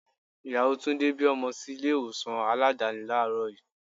Ìyàwó Túndé bí ọmọ sí ilé ìwòsàn Aládàáni làárọ̀ yii.